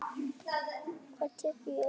Það er tekið í öðru.